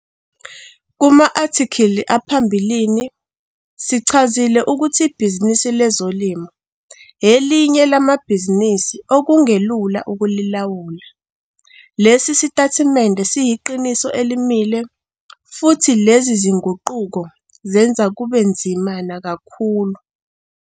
Kuma-athikhili aphambilini, sichazile ukuthi ibhizinisi lezolimo elinye lamabhizinisi okungelula ukulilawula. Lesi sitatimende siyiqiniso elimile futhi lezi zinguquko zenza kube nzima nakakhulu.